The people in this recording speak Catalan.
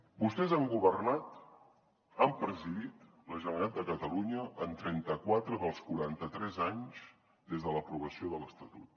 vostès han governat han presidit la generalitat de catalunya en trenta quatre dels quaranta tres anys des de l’aprovació de l’estatut